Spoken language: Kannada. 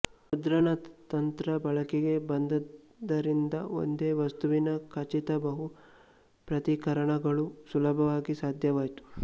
ಮುದ್ರಣ ತಂತ್ರ ಬಳಕೆಗೆ ಬಂದದ್ದರಿಂದ ಒಂದೇ ವಸ್ತುವಿನ ಖಚಿತ ಬಹು ಪ್ರತೀಕರಣಗಳು ಸುಲಭ ಸಾಧ್ಯವಾಯಿತು